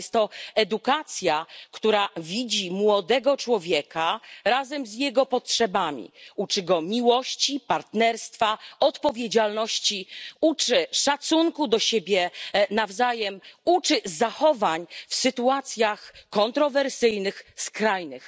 Ale jest to edukacja, która widzi młodego człowieka razem z jego potrzebami, uczy go miłości, partnerstwa, odpowiedzialności, uczy szacunku do siebie nawzajem, uczy zachowań w sytuacjach kontrowersyjnych, skrajnych.